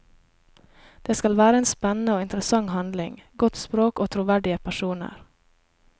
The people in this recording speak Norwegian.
Det skal være en spennende og interessant handling, godt språk og troverdige personer.